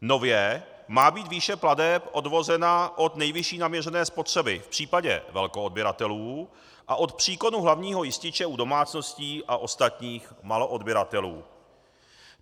Nově má být výše plateb odvozena od nejvyšší naměřené spotřeby v případě velkoodběratelů a od příkonu hlavního jističe u domácností a ostatních maloodběratelů.